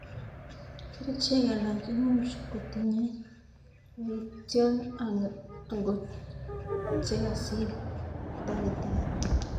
kerchek alak imuch kutinye yaitjo angot chekasir taktari